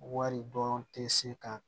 Wari dɔn tɛ se ka